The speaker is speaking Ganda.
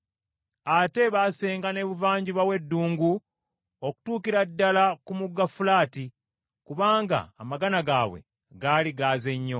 Ate baasenga n’ebuvanjuba w’eddungu okutuukira ddala ku mugga Fulaati, kubanga amagana gaabwe gaali gaaze nnyo.